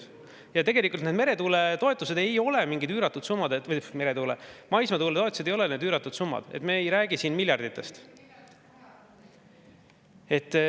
Ja tegelikult need maismaatuuletoetused ei ole üüratud summad, me ei räägi siin miljarditest.